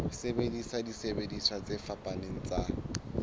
sebedisa disebediswa tse fapaneng tsa